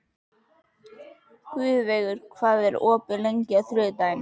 Guðveigur, hvað er opið lengi á þriðjudaginn?